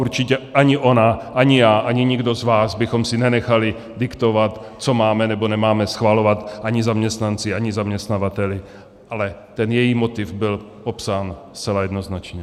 Určitě ani ona, ani já, ani nikdo z vás bychom si nenechali diktovat, co máme, nebo nemáme schvalovat, ani zaměstnanci, ani zaměstnavateli, ale ten její motiv byl popsán zcela jednoznačně.